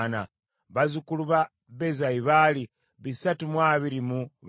bazzukulu ba Bezayi baali bisatu mu abiri mu bana (324),